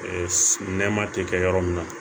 nɛma tɛ kɛ yɔrɔ min na